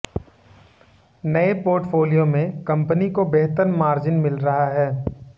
नए पोर्टफोलियो में कंपनी को बेहतर मार्जिन मिल रहा है